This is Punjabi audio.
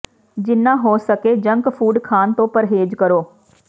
ਜਿੰਨਾ ਹੋ ਸਕੇ ਜੰਕ ਫੂਡ ਖਾਣ ਤੋਂ ਪਰਹੇਜ਼ ਕਰੋ